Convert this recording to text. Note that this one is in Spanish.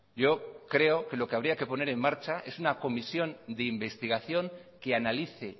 yo creo que lo que habría que poner en marcha es una comisión de investigación que analice